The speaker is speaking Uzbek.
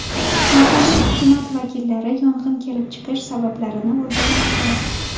Mahalliy hukumat vakillari yong‘in kelib chiqish sabablarini o‘rganmoqda.